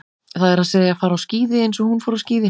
Það er að segja, fara á skíði eins og hún fór á skíði.